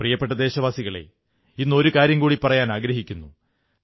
പ്രിയപ്പെട്ട ദേശവാസികളേ ഇന്ന് ഒരു കാര്യം കൂടി പറയാനാഗ്രഹിക്കുന്നു